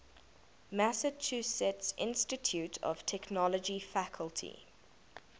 massachusetts institute of technology faculty